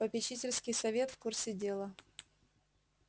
попечительский совет в курсе дела